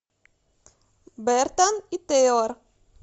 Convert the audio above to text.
бертон и тейлор